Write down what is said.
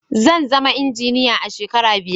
zanzama injiniya a shekara biyar